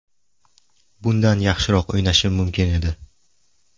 Bundan yaxshiroq o‘ynashim mumkin edi.